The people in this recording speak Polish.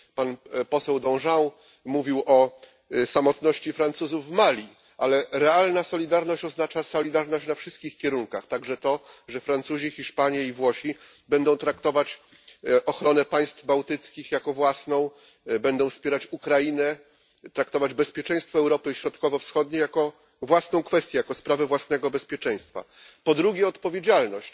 Pan poseł Danjean mówił o samotności Francuzów w Mali, ale realna solidarność oznacza solidarność na wszystkich kierunkach także to, że Francuzi, Hiszpanie i Włosi będą traktować ochronę państw bałtyckich jako własną, będą wspierać Ukrainę, traktować bezpieczeństwo Europy Środkowo Wschodniej jako własną kwestię, jako sprawę własnego bezpieczeństwa. Po drugie odpowiedzialność,